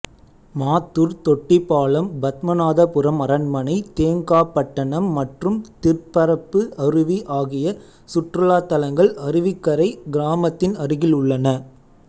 மாத்தூர் தொட்டிப்பாலம் பத்மநாபபுரம் அரண்மனை தேங்காப்பட்டணம் மற்றும் திற்பரப்பு அருவி ஆகிய சுற்றுலாத்தலங்கள் அருவிக்கரை கிராமத்தின் அருகில் உள்ளன